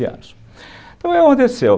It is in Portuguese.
Então, o que aconteceu?